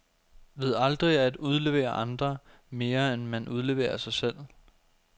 Ved aldrig at udlevere andre, mere end man udleverer sig selv.